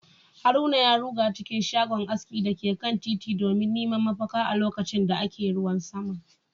haruna ya ruga cikin shago aski da ke kan titin domin neman mafaka a lokacin da ake ruwan sama